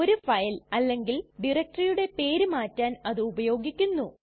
ഒരു ഫയൽ അല്ലെങ്കിൽ ഡയറക്ടറിയുടെ പേര് മാറ്റാൻ അത് ഉപയോഗിക്കുന്നു